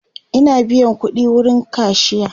Ina biyan ƙudi wurin kashiya